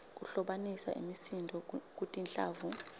kuhlobanisa imisindvo kutinhlavu